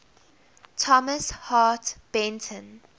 thomas hart benton